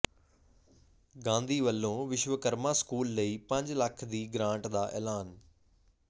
ਗਾਂਧੀ ਵੱਲੋਂ ਵਿਸ਼ਵਕਰਮਾ ਸਕੂਲ ਲਈ ਪੰਜ ਲੱਖ ਦੀ ਗਰਾਂਟ ਦਾ ਐਲਾਨ